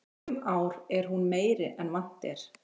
Sum ár er hún meiri en vant er.